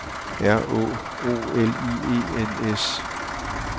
R Å O L I E N S